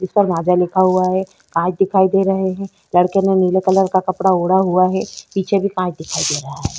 उस पर माजा लिखा हुआ है कांच दिखाई दे रहे है लड़के ने नीले कलर का ओढ़ा हुआ है पीछे भी कांच दिखाई दे रहा है।